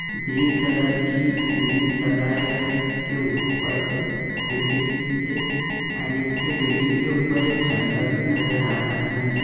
Green colour की series लगाए हुए हैं इसके ऊपर से बिल्डिंग से एंड इसके बिल्डिंग के ऊपर एक झंडा भी नजर आ रहा है मुझे।